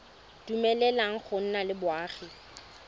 dumeleleng go nna le boagi